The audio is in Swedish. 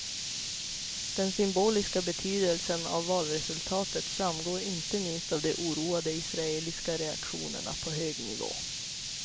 Den symboliska betydelsen av valresultatet framgår inte minst av de oroade israeliska reaktionerna på hög nivå.